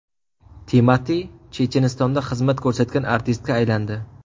Timati Chechenistonda xizmat ko‘rsatgan artistga aylandi.